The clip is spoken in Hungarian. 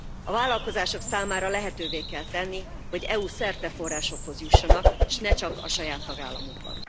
A vállalkozások számára lehetővé kell tenni, hogy EU szerte forrásokhoz jussanak, s ne csak a saját tagállamukban.